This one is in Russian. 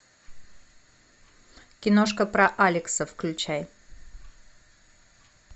киношка про алекса включай